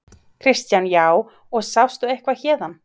Kristján: Já, og sástu eitthvað héðan?